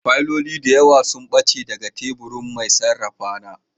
Fayiloli da yawa sun ɓace daga teburin mai sarrafa na